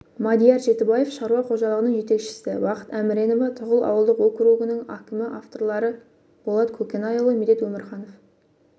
мадияр жетібаев шаруа қожалығының жетекшісі бақыт әміренова тұғыл ауылдық округінің әкімі авторлары болат көкенайұлы медет өмірханов